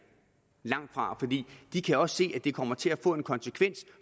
de kan nemlig også se at det kommer til at få en konsekvens